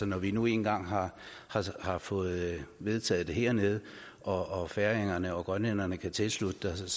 når vi nu én gang har har fået vedtaget det hernede og færingerne og grønlænderne kan tilslutte sig